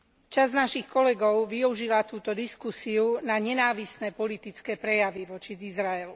Časť našich kolegov využila túto diskusiu na nenávistné politické prejavy voči Izraelu.